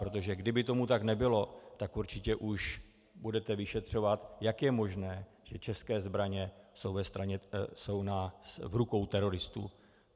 Protože kdyby tomu tak nebylo, tak určitě už budete vyšetřovat, jak je možné, že české zbraně jsou v rukou teroristů.